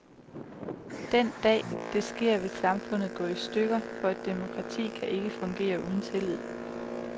Den dag, det sker, vil samfundet gå i stykker, for et demokrati kan ikke fungere uden tillid.